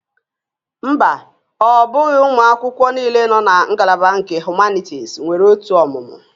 Mba, ọ bụghị ụmụ akwụkwọ niile nọ na ngalaba nke Humanities nwere otu ọmụmụ